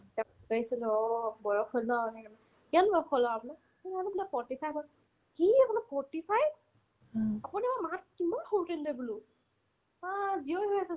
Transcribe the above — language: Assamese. তেওক কৈছিলো আৰু বয়স হ'লনা কিমান মই বোলো কিবা বয়স হ'লনো আপোনাৰ forty five হ'ল কি আপোনাৰ forty five আপোনি আমাৰ মা হ'ততকে কিমান সৰুতে বোলো অ